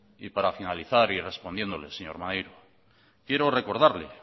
y para finalizar y respondiéndole señor maneiro quiero recordarle